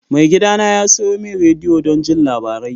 Maigidana ya sayo min rediyo don jin labarai.